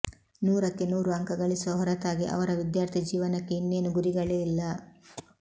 ನೂರಕ್ಕೆ ನೂರು ಅಂಕ ಗಳಿಸುವ ಹೊರತಾಗಿ ಅವರ ವಿದ್ಯಾರ್ಥಿಜೀವನಕ್ಕೆ ಇನ್ನೇನೂ ಗುರಿಗಳೇ ಇಲ್ಲ